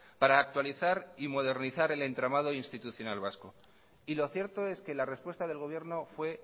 para actualizar y modernizar el entramado institucional vasco y lo cierto es que la respuesta del gobierno fue